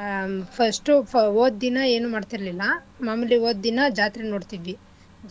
ಆಹ್ first ಹೋದ್ ದಿನ ಏನೂ ಮಾಡ್ತಿರ್ಲಿಲ್ಲ ಮಾಮೂಲಿ ಹೋದ್ ದಿನ ಜಾತ್ರೆ ನೋಡ್ತಿದ್ವಿ